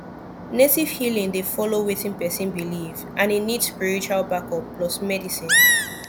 native healing dey follow wetin person believe and e need spiritual backup plus medicine